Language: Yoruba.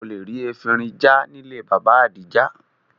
O lè rí efinrin já nílé Bàbá Adija